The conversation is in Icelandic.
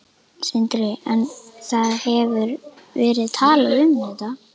Sindri: En það hefur verið talað um þetta?